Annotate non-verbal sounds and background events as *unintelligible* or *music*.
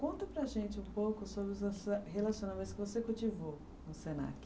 Conta para a gente um pouco sobre os *unintelligible* relacionamentos que você cultivou no Senac.